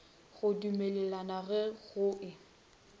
go dumelelana ge go e